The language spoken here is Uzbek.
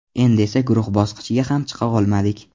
Endi esa guruh bosqichiga ham chiqa olmadik.